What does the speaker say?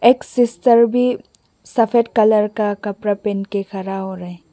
एक सिस्टर भी सफेद कलर का कपड़ा पहन के खड़ा हो रही --